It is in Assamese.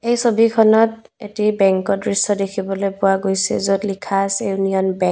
এই ছবিখনত এটি বেংকৰ দৃশ্য দেখিবলৈ পোৱা গৈছে য'ত লিখা আছে ইউনিয়ন বেংক ।